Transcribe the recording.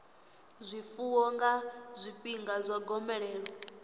zwifuwo nga zwifhinga zwa gomelelo